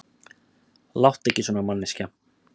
Láttu ekki svona manneskja.